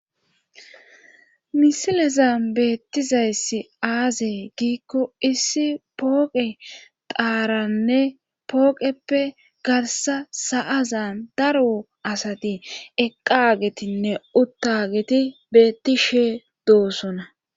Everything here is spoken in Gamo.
misileza beettizayssi aazey giikko issi pooqe daaranne pooqeppe garsa sa7azan darwo asati eqqagetinne uttageti beetti she doosona